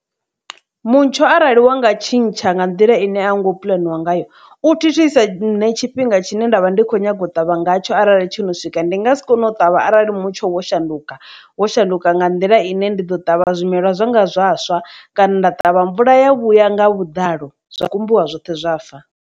Mutsho arali wa nga tshintsha nga nḓila ine a nga u puḽaniwaho ngayo, u thithisa nṋe tshifhinga tshine nda vha ndi kho nyaga u ṱavha nga tsho arali tsho no swika ndi nga si kone u ṱavha arali mutsho wa shanduka wo shanduka nga nḓila ine ndi ḓo ṱavha zwimela zwanga zwivhaswa, kana nda ṱavha mvula ya vhuya nga vhuḓalo zwa kumbiwa zwoṱhe zwa fa.